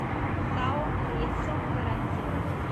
сао ресо гарантия